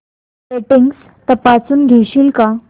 settings तपासून घेशील का